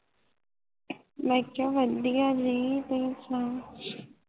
ਮੈ ਕਯਾ ਵਦੀਆਂ ਜੀ ਤੁਸੀ ਸੁਣਾਓ